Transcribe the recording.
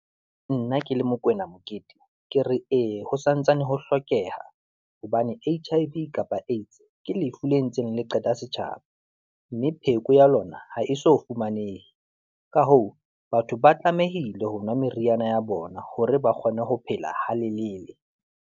Nna ke le Mokwena Mokete, ke re ee ho santsane ho hlokeha, hobane HIV kapa AIDS ke lefu le ntseng le qeta setjhaba, mme pheko ya lona ha e so fumanehe. Ka hoo, batho ba tlamehile ho nwa meriana ya bona hore ba kgone ho phela ha lelele.